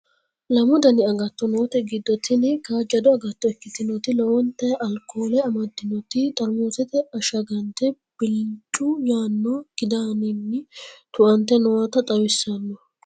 lamu dani agatto noote giddo tini kaajjado agatto ikkitinoti lowonta alkoole amaddinoti xarmuzete ashshagante bilicci yaanno kidaaninni tu"ante noota xawissanno